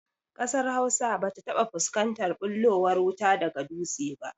Ƙasar Hausa ba ta taɓa fuskantar ɓullowar wuta daga dutse ba